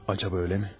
Yəni eləmi?